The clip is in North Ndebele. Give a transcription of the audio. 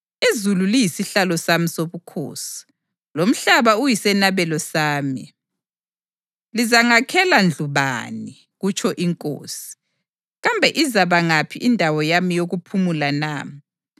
‘Izulu liyisihlalo sami sobukhosi, lomhlaba uyisenabelo sami. Lizangakhela ndlu bani? kutsho iNkosi. Kambe izaba ngaphi indawo yami yokuphumula na?